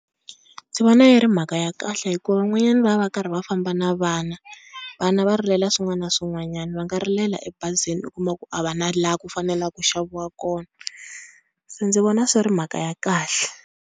Ndzi vona yi ri mhaka ya kahle hikuva van'wanyana va va va karhi va famba na vana vana va rilela swin'wana na swin'wanyana, va nga rilela ebazini u kuma ku a va na laha ku faneleke ku xaviwa kona se ndzi vona swi ri mhaka ya kahle.